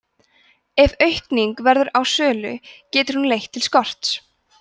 ef aukning verður á sölu getur hún leitt til skorts